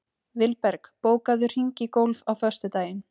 Vilberg, bókaðu hring í golf á föstudaginn.